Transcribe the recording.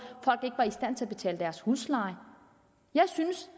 at i stand til at betale deres husleje jeg synes